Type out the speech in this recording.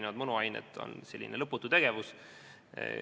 Juhtivkomisjoni ettekandja on sotsiaalkomisjoni esimees Tõnis Mölder.